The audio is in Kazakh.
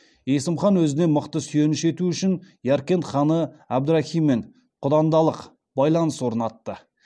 есім хан өзіне мықты сүйеніш ету үшін яркент ханы әбдірахиммен құдандалық байланыс орнатты